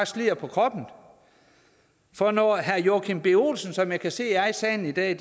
slider på kroppen for når herre joachim b olsen som jeg kan se er i salen i dag